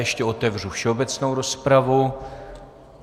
Ještě otevřu všeobecnou rozpravu.